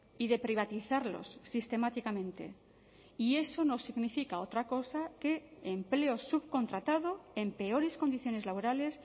y de privatizarlos sistemáticamente y eso no significa otra cosa que empleo subcontratado en peores condiciones laborales